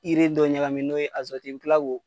Ire dɔ ɲakami n'o ye bi kila k'o